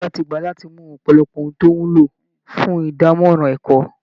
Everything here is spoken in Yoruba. Ìjọba ti gbà láti mú ọ̀pọ̀lọpọ̀ ohun tó wúlò fún ìdánmọ́rán ẹ̀kọ́